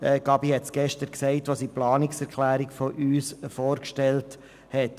Grossrätin Gabi hat es gestern gesagt, als sie unsere Planungserklärung vorgestellt hat.